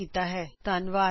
ਸਾਡੇ ਨਾਲ ਜੁੜਨ ਲਈ ਧੰਨਵਾਦ